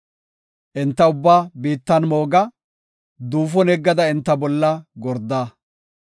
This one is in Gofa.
Enta ubbaa biittan mooga; duufon yeggada enta bolla gorda.